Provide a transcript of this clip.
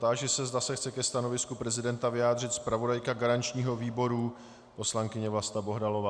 Táži se, zda se chce ke stanovisku prezidenta vyjádřit zpravodajka garančního výboru poslankyně Vlasta Bohdalová.